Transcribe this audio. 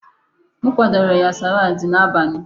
M kwadoro ya salaadi n'abalị.